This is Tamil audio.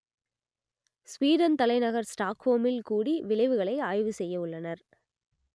ஸ்வீடன் தலைநகர் ஸ்டாக்ஹோமில் கூடி விளைவுகளை ஆய்வு செய்யவுள்ளனர்